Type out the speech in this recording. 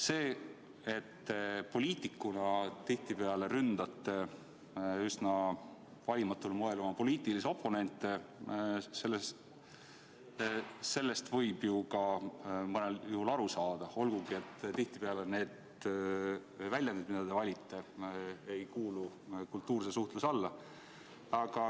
Sellest, et te poliitikuna tihtipeale üsna valimatul moel ründate oma poliitilisi oponente, võib ju mõnel juhul ka aru saada, olgugi et tihtipeale need väljendid, mida te valite, ei kuulu kultuurse suhtluse alla.